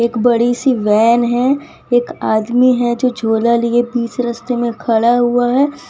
एक बड़ी सी वैन है एक आदमी है जो झोला लिए बीच रस्ते में खड़ा हुआ है।